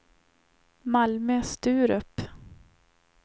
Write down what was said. Malmö-Sturup